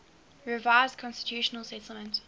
revised constitutional settlement